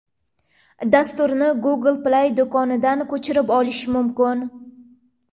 Dasturni Google Play do‘konidan ko‘chirib olish mumkin .